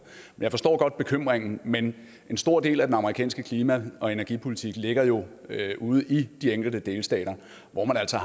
jeg forstår godt bekymringen men en stor del af den amerikanske klima og energipolitik ligger jo ude i de enkelte delstater hvor man altså